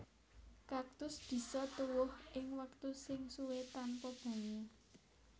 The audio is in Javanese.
Kaktus bisa tuwuh ing wektu sing suwé tanpa banyu